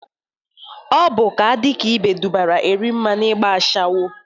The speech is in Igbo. Ọ bụ ka a dị ka ibe dụbara Erimma n'igba ashawo